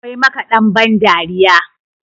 akwai makaɗan bandariya